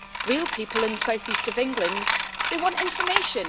real people in the South East of England, they want information.